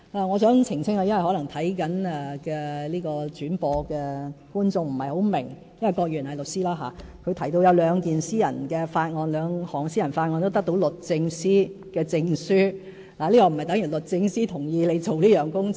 我想澄清一點，因為正在收看轉播的觀眾可能不太明白，郭議員是律師，他提到有兩項私人法案得到律政司的證書，但這並不等於律政司同意他進行有關工作。